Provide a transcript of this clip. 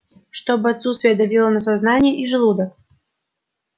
чтобы отсутствие давило на сознание и желудок